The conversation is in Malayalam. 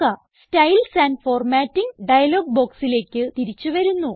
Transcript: സ്റ്റൈൽസ് ആൻഡ് ഫോർമാറ്റിംഗ് ഡയലോഗ് ബോക്സില്ലേക്ക് തിരിച്ച് വന്നു